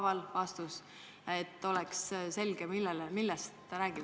Tuleks vastata küsimus küsimuse haaval, et oleks selge, millest ta üldse räägib.